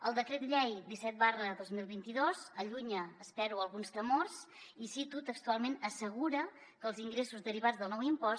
el decret llei disset dos mil vint dos allunya espero alguns temors i cito textualment assegura que els ingressos derivats del nou impost